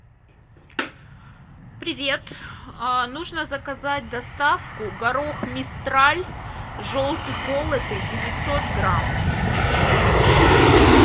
привет нужно заказать доставку горох мистраль желтый колотый девятьсот грамм